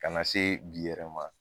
Kana se bi yɛrɛ ma